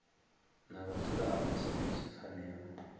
na vhadzulapo sa izwi pfanelo